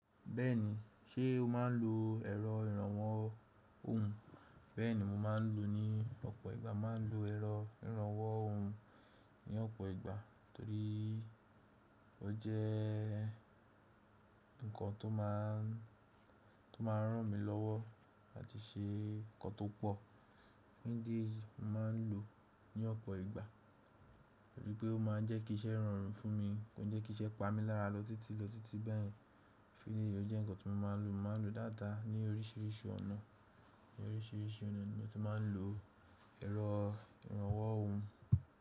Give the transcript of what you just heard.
Bẹ́ẹ̀ni, ṣe o máa ń lo ẹ̀rọ ìrànwọ́ ohùn? Bẹ́ẹ̀ni mo máa ń lo ní ọ̀pọ̀ ìgbà, máa ń lo ẹ̀rọ ìrànwọ́ ohùn ní ọ̀pọ̀ ìgbà torí ó jẹ́ nǹkan tó máa ń, tó máa ń ràn mí lọ́wọ́ àti ṣe nǹkan tó pọ̀. Mo máa ń lo ní ọ̀pọ̀ ìgbà torí pé ó máa ń jẹ́ kí iṣẹ́ rọrùn fún mi, kói jẹ́ kí iṣẹ́ pa mí lára lọ títí lọ títí báyen. Isi léyìí tó fi jẹ́ nǹkan tí mo máa ń lo, mo máa ń lo dáadáa ní oríṣiríṣi ọ̀nà, ní oríṣiríṣi ọ̀nà ni mo ti máa ń lo ẹ̀rọ ìrànwọ́ ohùn.